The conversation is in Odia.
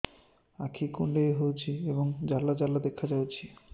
ଆଖି କୁଣ୍ଡେଇ ହେଉଛି ଏବଂ ଜାଲ ଜାଲ ଦେଖାଯାଉଛି